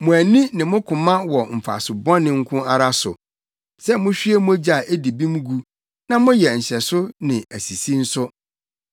“Mo ani ne mo koma wɔ mfaso bɔne nko ara so, sɛ muhwie mogya a edi bem gu na moyɛ nhyɛso ne asisi nso.”